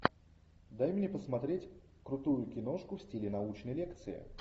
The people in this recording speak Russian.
дай мне посмотреть крутую киношку в стиле научной лекции